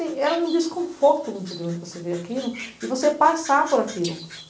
E era um desconforto muito grande você ver aquilo e você passar por aquilo.